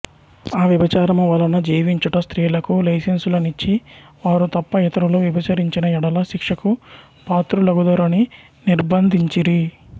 అ వ్వభిచారము వలన జీవించుట స్త్రీలకు లైసెన్సులనిచ్చి వారు తప్ప ఇతరులు వ్వభిచరించిన యెడల శిక్షకు పాత్రులగుదురని నిర్బందించిరి